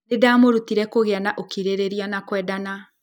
Nĩ ndamarutire kũgĩa na ũkirĩrĩria na kwendana.